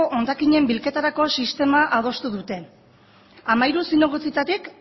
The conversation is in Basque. hondakinen bilketarako sistema adostu dute hamairu zinegotzietatik